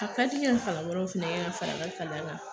A ka di n ye ka kalan wɛrɛw fɛnɛ kɛ ka fara n ka kalan kan